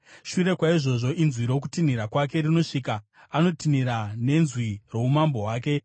Shure kwaizvozvo inzwi rokutinhira kwake rinosvika; anotinhira nenzwi roumambo hwake.